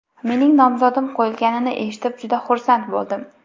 Mening nomzodim qo‘yilganini eshitib juda xursand bo‘ldim.